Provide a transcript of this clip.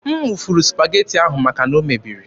M wụfuru Supageti ahụ maka na o mebiri.